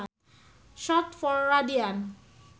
Short for radian